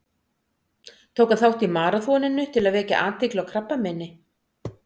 Tók hann þátt í maraþoninu til að vekja athygli á krabbameini.